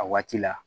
A waati la